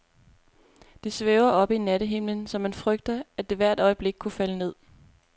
Det svæver oppe i nattehimlen, så man frygter, at det hvert øjeblik kunne falde ned.